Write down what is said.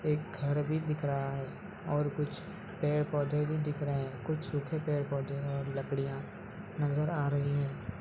एक घर भी दिख रहा है और कुछ पेड़-पौधें भी दिख रहे है कुछ सूखे पेड़ पौधें है और लड़कियां नजर आ रही है।